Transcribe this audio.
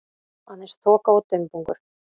Aðeins þoka og dumbungur.